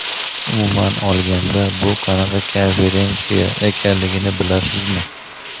umuman olganda bu qanaqa konferensiya ekanligini bilasizmi?.